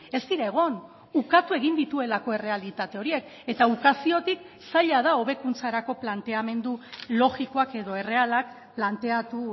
ez dira egon ukatu egin dituelako errealitate horiek eta ukaziotik zaila da hobekuntzarako planteamendu logikoak edo errealak planteatu